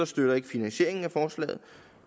støtter finansieringen af forslaget